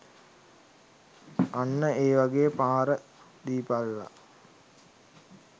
අන්න ඒ වගේ පහර දීපල්ලා